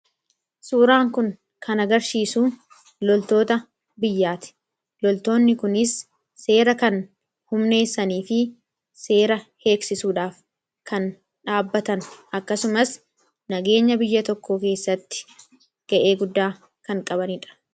Suuraan kun kana garsiisuu loltoota biyyaati loltoonni kunis seera kan humneessanii fi seera heeksisuudhaaf kan dhaabbatan akkasumas nageenya biyya tokko keessatti ga'ee guddaa kan qabaniidha.